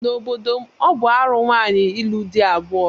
N'obodo m, ọ bụ arụ nwaanyị ịlụ di abụọ.